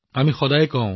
আমি সদায় কওঁ